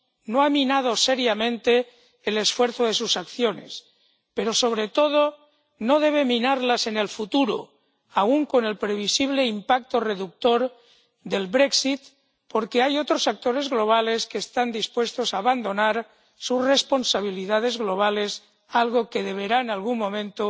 no han minado seriamente el esfuerzo de sus acciones, pero sobre todo no deben minarlas en el futuro, aún con el previsible impacto reductor del Brexit, porque hay otros actores globales que están dispuestos a abandonar sus responsabilidades globales, algo que deberá en algún momento